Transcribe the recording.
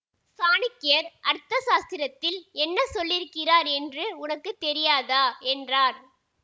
சாணக்கியர் அர்த்த சாஸ்திரத்தில் என்ன சொல்லியிருக்கிறார் என்று உனக்கு தெரியாதா என்றார்